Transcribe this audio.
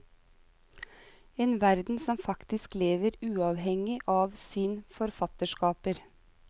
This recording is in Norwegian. En verden som faktisk lever uavhengig av sin forfatterskaper.